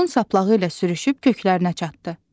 Otun saplağı ilə sürüşüb köklərinə çatdı.